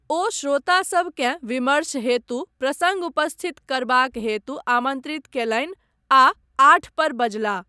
ओ श्रोता सभकेँ विमर्श हेतु प्रसङ्ग उपस्थित करबाक हेतु आमन्त्रित कयलनि आ आठ पर बजलाह।